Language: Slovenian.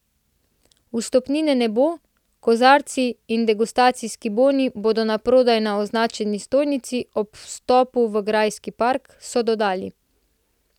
Vstopnine ne bo, kozarci in degustacijski boni bodo naprodaj na označeni stojnici ob vstopu v grajski park, so dodali.